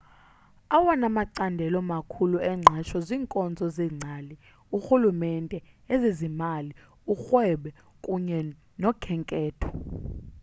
awona macandelo makhulu engqesho ziinkonzo zeengcali urhulumente ezezimali urhwebo kunye nokhenketho